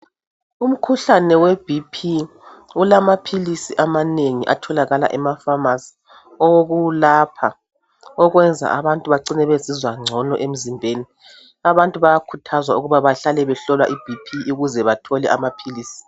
Umkhuhlane weBP ulamaphilisi amanengi atholakala emafamasi awokulapha okwenza abantu becine bezizwa ngcono emzimbeni. Abantu bayakhuthazwa ukuthi bahlale behlola iBP ukuze bethole amaphilisi.